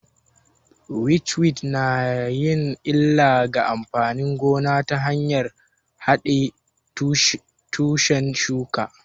Witchweed na yin illa ga amfanin gona ta hanyar haɗe tushen shuka